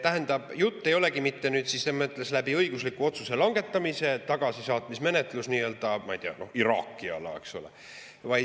Tähendab, jutt ei olegi selles mõttes õigusliku otsuse langetamisest, tagasisaatmismenetlusest, ma ei tea, näiteks Iraagi puhul.